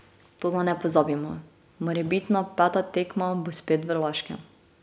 Toda ne pozabimo, morebitna peta tekma bo spet v Laškem.